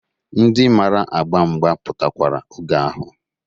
Ndị mara agba mgba pụtakwara oge ahụ.